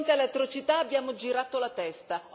Di fronte alle atrocità abbiamo girato la testa.